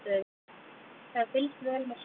Það er fylgst vel með svæðinu